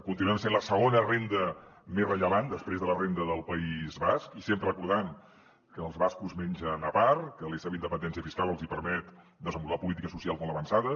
continuem sent la segona renda més rellevant després de la renda del país basc i sempre recordant que els bascos mengen a part que la seva independència fiscal els hi permet desenvolupar polítiques socials molt avançades